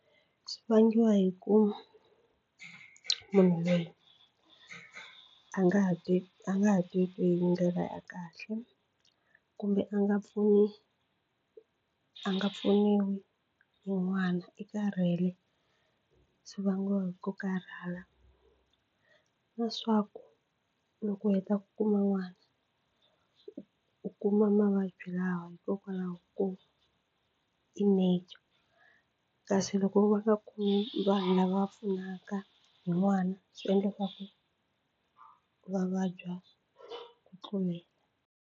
Swi vangiwa hi ku munhu loyi a nga ha ti a nga ha teki hi ndlela ya kahle kumbe a nga pfuni a nga pfuniwi hi n'wana i karhele swi vangiwa hi ku karhala leswaku loko u heta ku kuma n'wana u u kuma mavabyi lawa hikokwalaho ko i nature kasi loko va nga ku vanhu lava pfunaka hi n'wana swi endla leswaku va vabya ku tlulela.